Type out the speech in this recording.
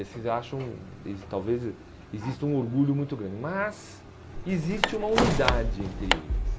Eles acham, eles talvez, existe um orgulho muito grande, mas existe uma unidade entre eles.